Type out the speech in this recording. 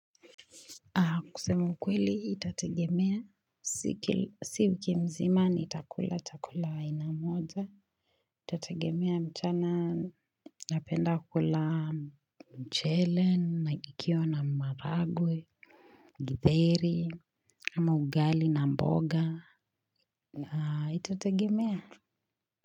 Kusema ukweli itategemea, si wiki mzima nitakula chakula aina moja itategemea mchana napenda kula mchele, na ikiwa na maharagwe, githeri, ama ugali na mboga, itategemea.